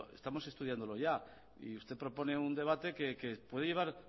estamos estudiándolo ya y usted propone un debate una